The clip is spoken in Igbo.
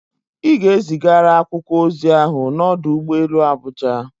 Ị ga-ezigara akwụkwọ ozi ahụ n'ọdụ ụgbọ elu Abuja!